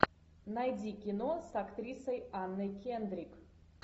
найди кино с актрисой анной кендрик